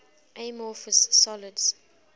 amorphous solids